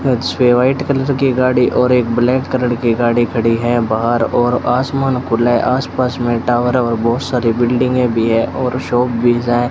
छे white colour की गाड़ी और एक ब्लैक कलर की गाड़ी खड़ी है बाहर और आसमान खुला है आसपास में टॉवर और बहोत सारी बिल्डिंगें भी है और शॉप भी हैं।